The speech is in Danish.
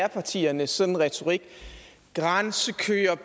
japartiernes sådan retorik grænsekøer